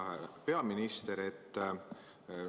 Hea peaminister!